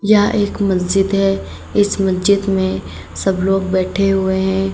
यह एक मस्जिद है इस मस्जिद में सब लोग बैठे हुए हैं।